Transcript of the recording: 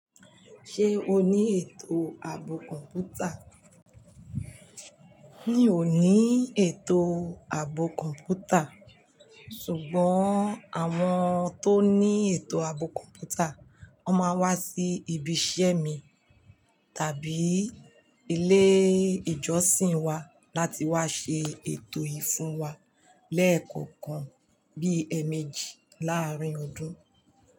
Ṣé o ní ètò ààbò kọ̀ǹpútà? Mì o ní ètò ààbò kọ̀ǹpútà, ṣùgbọ́n àwọn tó ní ètò ààbò kọ̀ǹpútà wón máa wá sí ibi iṣẹ́ mi tàbí ilé ìjọsìn wa láti wá ṣe ètò yìí fún wa lẹ́ẹ̀kọ̀ọ̀kan bí ẹmẹjì láàárín ọdún.